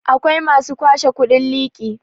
akwai masu kwashe kudin liki